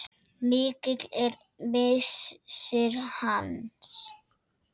Mikill er missir hans.